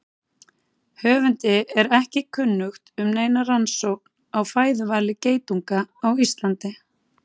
Höfundi er ekki kunnugt um neina rannsókn á fæðuvali geitunga á Íslandi.